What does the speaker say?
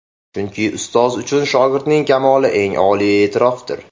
Chunki ustoz uchun shogirdining kamoli eng oliy e’tirofdir”.